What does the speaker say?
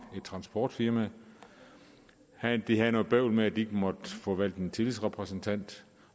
transportfirma de havde noget bøvl med at de ikke måtte få valgt en tillidsrepræsentant